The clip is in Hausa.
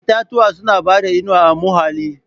Itatuwa suna bada inuwa a muhalli.